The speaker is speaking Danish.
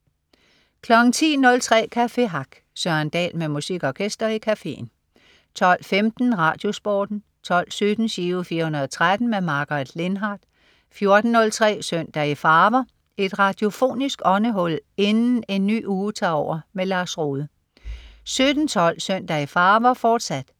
10.03 Café Hack. Søren Dahl med musik og gæster i cafeen 12.15 RadioSporten 12.17 Giro 413. Margaret Lindhardt 14.03 Søndag i farver. Et radiofonisk åndehul inden en ny uge tager over. Lars Rohde 17.12 Søndag i farver, fortsat